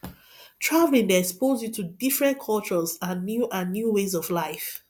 traveling dey expose you to different cultures and new and new ways of life